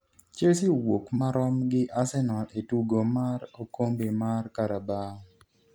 Chelsea owuok marom gi Arsenal e tugo mar okombe mar Carabao